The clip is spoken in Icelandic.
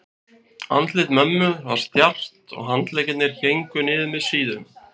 Andlit mömmu var stjarft og handleggirnir héngu niður með síðum.